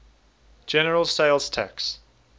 general sales tax